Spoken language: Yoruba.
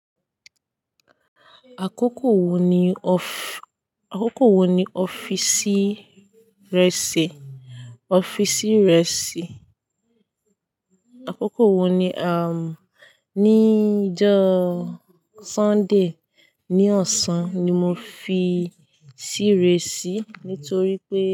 Àkókò wo ni ọ́fí- àkókò wo ni ọ́fìsì rẹ ṣí, ọ́fìsì rẹ ṣí? Àkókò wo ni, um, ní ijọ́ Sunday ní ọ̀sán ni mo fi ṣí re ṣí, nítorí pé.